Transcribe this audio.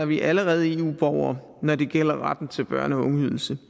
vi allerede eu borgere når det gælder retten til børne og ungeydelse